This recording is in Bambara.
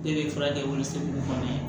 Ne bɛ furakɛ o sɛbɛn ninnu kɔnɔ